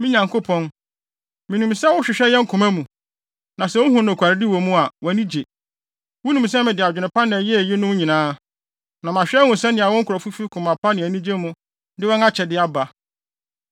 Me Nyankopɔn, minim sɛ wohwehwɛ yɛn koma mu, na sɛ wuhu nokwaredi wɔ mu a, wʼani gye. Wunim sɛ mede adwene pa na ɛyɛɛ eyinom nyinaa, na mahwɛ ahu sɛnea wo nkurɔfo fi koma pa ne anigye mu de wɔn akyɛde aba.